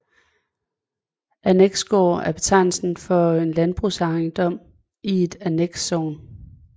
Anneksgård er betegnelsen for en landbrugsejendom i et annekssogn